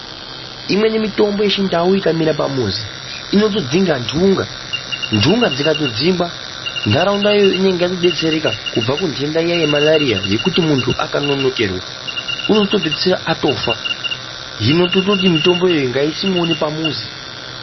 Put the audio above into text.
Imweni mitombo yechi ndau ika mera pamuzi inoto dzinga ndunga ndunga dzikato dzingwa ndaraunda yoyo inenge yato detsereka kubva ku ndenda iya ye marariya yekuti muntu akanonokerwa unoto pedzisira atofa hino tototi mitombo yoyo ngaisimwewo ne pamuzi.